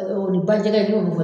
o ni bajɛgɛ , n y'olu